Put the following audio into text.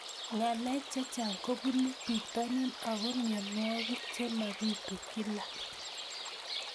Ng'alek chechang' kopunu pitonin ako mianwogik che mapitu kila